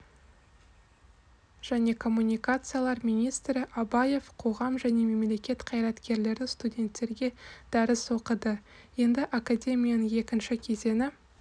және коммуникациялар министрі абаев қоғам және мемлекет қайраткерлері студенттерге дәріс оқыды енді академияның екінші кезеңі